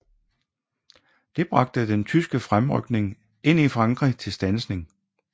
Det bragte den tyske fremrykning ind i Frankrig til standsning